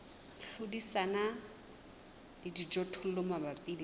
hlodisana le dijothollo mabapi le